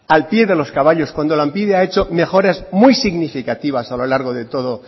al pie de los caballos cuando lanbide ha hecho mejoras muy significativas a lo largo de toda